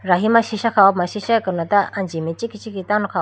rahi ma sisha kha ho puma sisha akano ta anji mai ichikhi ichikhi tando kha ho puma.